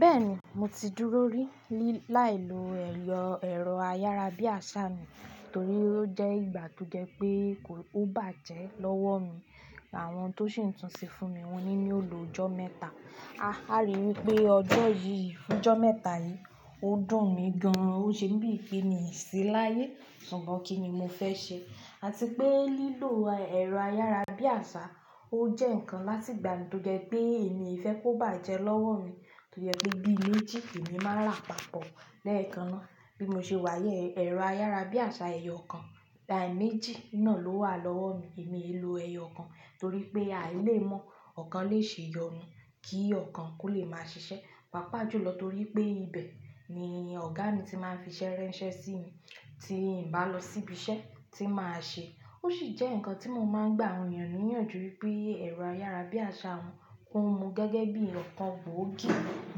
Bẹ́ẹ̀ni, mo ti dúró rí láì lo ẹyọ ẹ̀rọ ayára bí àṣá mi torí ó jẹ́ ìgbà tó jẹ́ pé kó o bàjẹ́ lọ́wọ́ mi. Àwọn tó ṣe ń túnṣe fún mi wọ́n ní yò lo ọjọ́ mẹ́ta. Àrí wípé ọjọ́ yìí, ọjọ́ mẹ́ta yìí ó dùn mi gan-an. Ó ṣe mi bí pe mi sí láyé ṣùgbọ́n kíni mo fẹ́ ṣe àti pé lílò ẹ̀rọ ayára bí àṣá ó jẹ́ ǹkan láti ìgbà tó jẹ́ pé èmi e fẹ́ kó bàjẹ́ lọ́wọ́ mi tojé pé bí méjì lèmi máa rà papọ̀. Lẹ́ẹ̀kan náà bí mo ṣe wà yí, ẹ̀rọ ayára bí àṣá ẹyọ kan, méjì náà ló wà lọ́wọ́ mi. Èmi e lò ẹyọ kan torí pé àì le mọ̀ ọ̀kan lè ṣe yọnu kí ọ̀kan kó lè máa ṣiṣẹ́. Pàápàá jùlọ torí pé ibẹ̀ ni ọ̀gá mi ti máa ń fi ṣẹ́ ránṣẹ́ sí mi tí ǹ bá lọ síbi iṣẹ́ tí màá ṣe. Ó sì jẹ́ ǹkan tí mo máa ń gbà àwọn ènìyàn níyànjú wípé ẹ̀rọ ayára bí àṣá wọn kó mu gẹ́gẹ́ bí kan gbòógì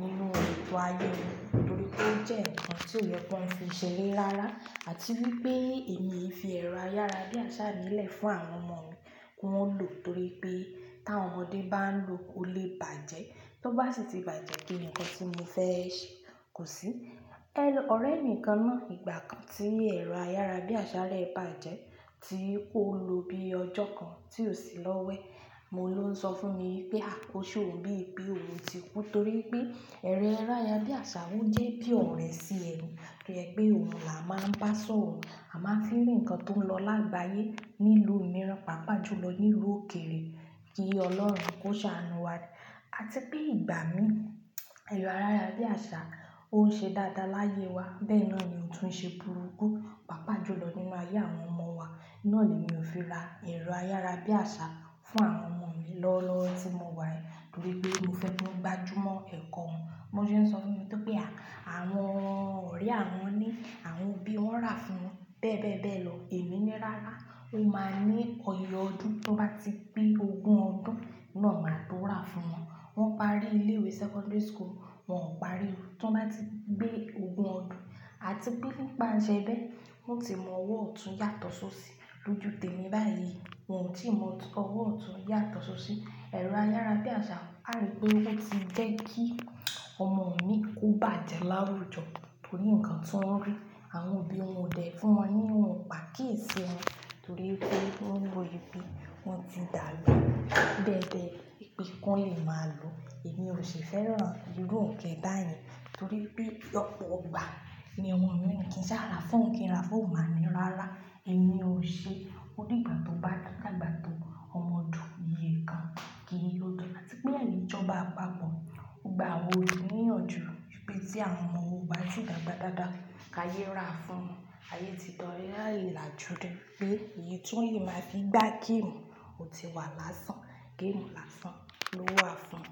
nínú ètò ayé wọn torí pé ó jẹ́ ǹkan tí ọ̀ yẹ kí wọn fi ṣẹre rárá àti wípé èmi e fi ẹ̀rọ ayára bí àṣá mi lẹ̀ fún àwọn ọmọ mi kó wọn lò torí pé tí àwọn ọmọdé bá ń lò ó lè bàjẹ́. Tó bá sì ti bàjẹ́ kí ni nǹkan tí mo fẹ́ ṣe kò sí. Ọ̀rẹ́ mi kan náà ìgbà kan tí ẹ̀rọ ayára bí àṣá rẹ̀ bàjẹ́ tí ó lò bíi ọjọ́ kan tí ò sí lọ́wọ́ ẹ̀. Ohun ló ń sọ fún mi wípé ose òun bí i pé òun ti kú torí pé ẹ̀rọ ayára bí àṣá òun jẹ́ bí ọ̀re sí ẹnu toye pé òun là á máa ń bá a sọ̀rọ̀. A máa ń fí ri ǹkan tó ń lọ lágbàyé nílùú mìíràn, pàápàá jùlọ nílùú òkèèrè kí Ọlọ́run kó ṣàánú wa. Àti pé ìgbà mí ẹ̀rọ ayára bí àṣá ó ń ṣe dáadáa láyé wa bẹ́ẹ̀ náà ni ó tún ń ṣe burúkú pàápàá jùlọ nínú ayé àwọn ọmọ wa. Ohun na ni mi ò fi ra ẹ̀rọ ayára bí àṣá fún àwọn ọmọ mi lọ́wọ́lọ́wọ́ tí mo wà torí pé mo fẹ́ kí wọ́n gbajúmọ̀ ẹ̀kọ́ wọn. Bí wọ́n ṣe ń sọ fún to wípé àwọn ọ̀rẹ́ àwọn ni àwọn òbí wọn rà fún wọn bẹ́ẹ̀ bẹ́ẹ̀ bẹ́ẹ̀ lọ. Èmi ní rárá, ó máa ní iye ọdún tí wọ́n bá ti pé ogún ọdún náà máa tó rà fún wọn. Wọ́n parí ilé-ìwé secondary school wọn ò parí. Tí wọ́n bá ti pé ogún ọdún àtipé nìpá ń ṣe re wọn ti mọ ọwọ́ ọ̀tún yàtọ̀ sóṣì. Lójú tèmi báyìí wọn ò tí ì mọ ọwọ́ ọ̀tún yàtọ̀ sóṣì. Ẹ̀rọ ayára bí àṣá á rí pé ó ti jẹ́ kí ọmọ mi kó bàjẹ́ láwùjọ torí ǹkan tí wọ́n rí àwọn òbí wọn dẹ̀ fún wọn ní wọn ò gbà kí ì ṣe wọn torí pé wọ́n rí i bí i wọ́n ti dàálù bẹ́ẹ̀ bẹ́ẹ̀ wípé kí wọ́n lè máa lo. Èmi ò ṣe fẹ́ràn irú òǹkẹ́ báyẹn torí pé ọ̀pọ̀ ìgbà ní ọmọ yo ni kíń sára fún ohun kín ra fún ohun máa ní rárá. Èmi ò ṣe. Ó di ìgbà tó bá dàgbà tó ọmọ dùn iyè kan kí n yóò dá. Àti pé ìjọba àpapọ̀ gba àwọn ènìyàn níyànjú wípé tí àwọn ọmọ wọn ó báti dàgbà dáadáa ká yé rà fún wọn. Ayé ti di, ayé ọlàjúdé pé èyí tún yí máa fi gbá géèmù ò ti wà lásán, géèmù lásán lówà fún.